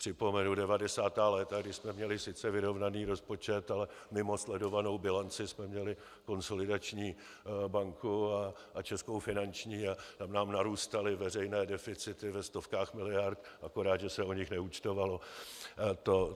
Připomenu 90. léta, kdy jsme měli sice vyrovnaný rozpočet, ale mimo sledovanou bilanci jsme měli Konsolidační banku a Českou finanční a tam nám narůstaly veřejné deficity ve stovkách miliard, akorát že se o nich neúčtovalo.